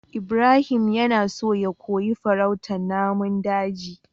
Ibrahim yana so ya koyi farautar namun daji